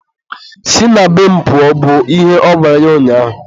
si na be m pụọ! bụ ihe ọ gwara ya ụnyaahụ.